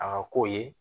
A ka k'o ye